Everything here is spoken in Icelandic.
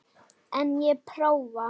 En ég prófa.